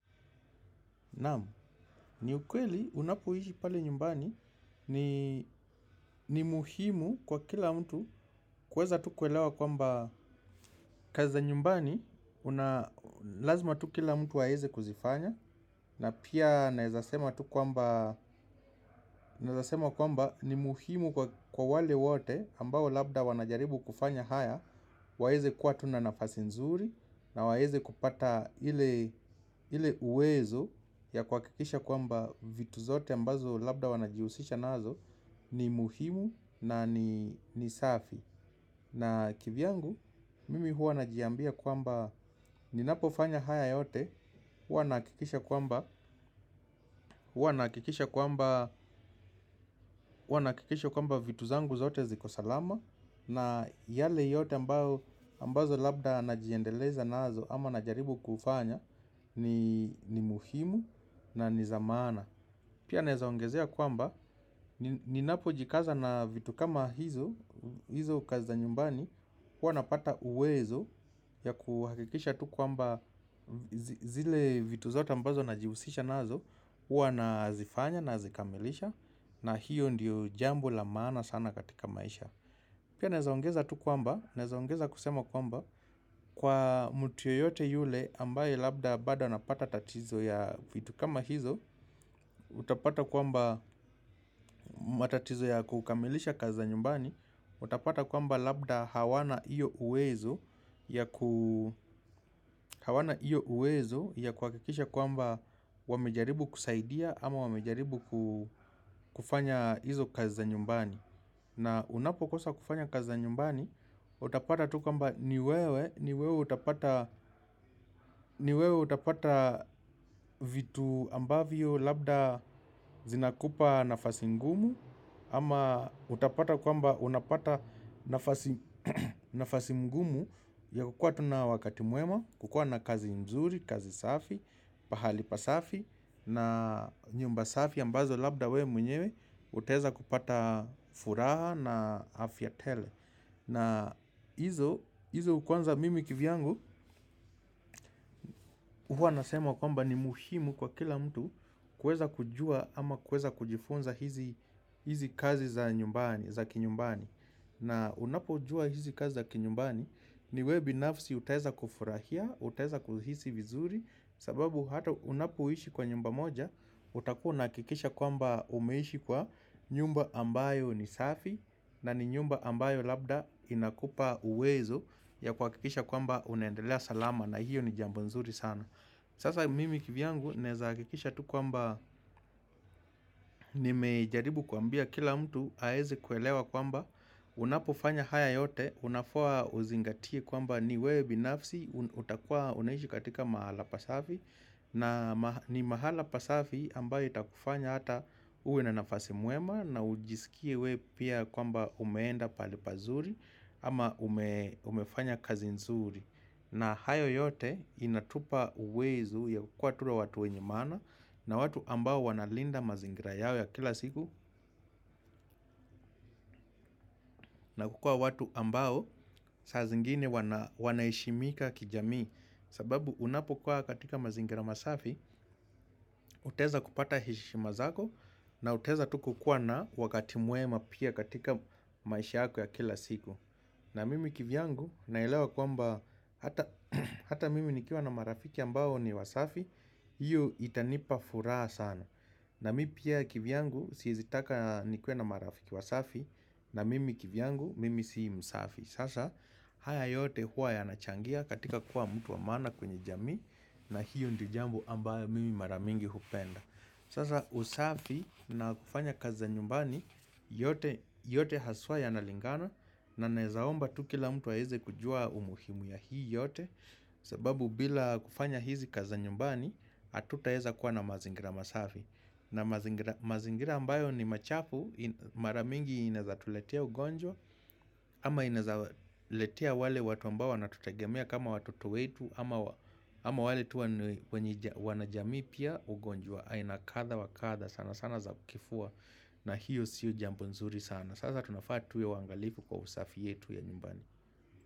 Namu, ni ukweli unapoishi pale nyumbani ni muhimu kwa kila mtu kweza tu kuelewa kwamba kazi za nyumbani lazima kila mtu aweze kuzifanya na pia naezea sema tu kwamba kwamba ni muhimu kwa wale wote ambao labda wanajaribu kufanya haya waweze kuwa tu na nafasi nzuri na waweze kupata ile ile uwezo ya kwa kikisha kwamba vitu zote ambazo labda wanajihusisha nazo. Ni muhimu na ni safi. Na kivyangu mimi hua najiambia kwamba ninapo fanya haya yote. Huwa nahakikisha kwamba huwa nahakikisha kwamba huwa nahakikisha kwamba vitu zangu zote zikosalama. Na yale yote ambazo labda najiendeleza nazo ama najaribu kufanya. Ni muhimu na nizamaana. Pia naezaongezea kwamba ninapo jikaza na vitu kama hizo, hizo kazi za nyumbani. Kuwa napata uwezo ya kuhakikisha tu kwamba zile vitu zote ambazo na jihusisha nazo. Kuwa nazifanya nazikamilisha na hiyo ndiyo jambo la maana sana katika maisha. Pia naezaongeza tu kwamba, naezaongeza kusema kwamba kwa mtu yoyote yule ambaye labda bado anapata tatizo ya vitu kama hizo. Utapata kwamba matatizo ya kukamilisha kazi za nyumbani. Utapata kwamba labda hawana hio uwezo hawana iyo uwezo ya kuhakikisha kwamba wamejaribu kusaidia ama wamejaribu kufanya hizo kazi za nyumbani. Na unapo kosa kufanya kazi za nyumbani. Utapata tu kwamba ni wewe. Niwewe utapata vitu ambavyo labda zinakupa nafasi ngumu. Ama utapata kwamba unapata nafasi mgumu ya kukua tu na wakati mwema. Kukua na kazi mzuri, kazi safi, pahali pasafi na nyumba safi ambazo labda we mwenyewe. Utaeza kupata furaha na afya tele. Na hizo kwanza mimi kivyangu huwa nasema kwamba ni muhimu kwa kila mtu. Kweza kujua ama kweza kujifunza hizi kazi za kinyumbani. Na unapo jua hizi kazi za kinyumbani ni we binafsi utaeza kufurahia. Utaeza kuhisi vizuri sababu hata unapoishi kwa nyumba moja. Utakuwa unahakikisha kwamba umeishi kwa nyumba ambayo ni safi. Na ni nyumba ambayo labda inakupa uwezo ya kuhakikisha kwamba unendelea salama. Na hiyo ni jambo nzuri sana. Sasa mimi kivyangu naezahakikisha tu kwamba nimejaribu kuambia kila mtu aeze kuelewa kwamba unapofanya haya yote, unafaa uzingatie kwamba ni wewe binafsi, utakua unaishi katika mahala pasafi, na ni mahala pasafi ambayo itakufanya ata uwe na nafasi mwema na ujisikie wewe pia kwamba umeenda pahali pazuri ama umefanya kazi nzuri. Na hayo yote inatupa uwezo ya kuwa tuwe watu wenye maana na watu ambao wanalinda mazingira yao ya kila siku na kukuwa watu ambao saa zingine wanaheshimika kijamii. Sababu unapokuwa katika mazingira masafi, utaeza kupata heshima zako na utaeza tu kukua na wakati mwema pia katika maisha yako ya kila siku. Na mimi kivyangu naelewa kwamba hata mimi nikiwa na marafiki ambao ni wasafi. Hiyo itanipa furaha sana. Na mimi pia kivyangu siezi taka nikuwe na marafiki wasafi. Na mimi kivyangu mimi si msafi. Sasa haya yote huwa yanachangia katika kuwa mtu wa maana katika jamii. Na hiyo ndio jambo ambayo mimi mara mingi hupenda. Sasa usafi na kufanya kazi za nyumbani yote haswa yanalingana. Na naezaomba tu kila mtu aeze kujua umuhimu ya hii yote. Sababu bila kufanya hizi kazi za nyumbani hatutaeza kuwa na mazingira masafi. Na mazingira ambayo ni machafu. Mara mingi inaezatuletea ugonjwa. Ama inaeza letea wale watu ambao wanatutegemea kama watoto wetu. Ama wale tu wanajamii pia ugonjwa. Aina katha wakatha sana sana za kifua. Na hiyo sio jambo nzuri sana sasa tunafaa tuwe waangalifu kwa usafi yetu ya nyumbani.